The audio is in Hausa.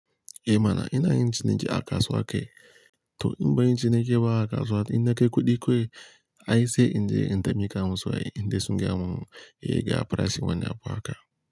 Eh mana ina yin ciniki a kasuwa ke, to in ba yin ciniki ba a kasuwa, in na kai kuɗi kawai, ai sai in je in tafi kamun su, ai in dai sun gyamu, eh ga farashin wani abu haka.